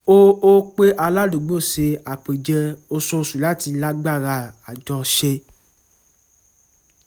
ó ó pè aládùúgbò sí àpèjẹ oṣooṣu láti lágbára àjọṣe